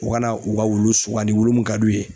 U ka na u ka wulu sugandi wulu mun ka d'u ye.